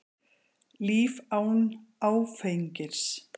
Líf án áfengis.